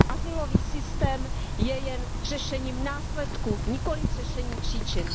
Azylový systém je jen řešením následků, nikoliv řešením příčin.